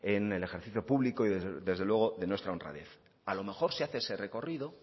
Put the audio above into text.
en el ejercicio público y desde luego de nuestra honradez a lo mejor si hace ese recorrido